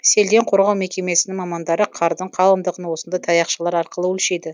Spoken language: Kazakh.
селден қорғау мекемесінің мамандары қардың қалыңдығын осындай таяқшалар арқылы өлшейді